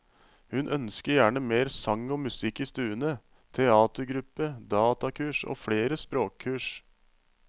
Hun ønsker gjerne mer sang og musikk i stuene, teatergruppe, datakurs og flere språkkurs.